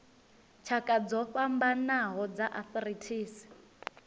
tshakha dzo fhambanaho dza arthritis